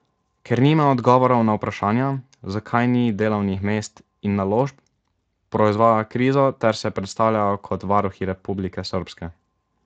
Ker nimajo odgovorov na vprašanja, zakaj ni delovnih mest in naložb, proizvajajo krizo ter se predstavljajo kot varuhi Republike srbske.